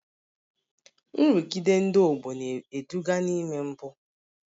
Nrụgide ndị ọgbọ na-eduga n'ime mpụ